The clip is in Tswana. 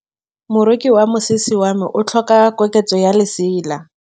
Moroki wa mosese wa me o tlhoka koketsô ya lesela.